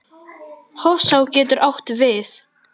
Hofsá getur átt við